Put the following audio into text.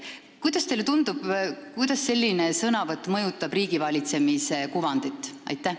Kuidas teile tundub, kuidas selline sõnavõtt mõjutab riigivalitsemise kuvandit?